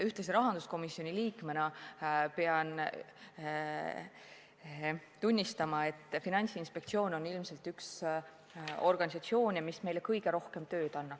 Ühtlasi pean rahanduskomisjoni liikmena tunnistama, et Finantsinspektsioon on ilmselt üks organisatsioone, kes meile kõige rohkem tööd annab.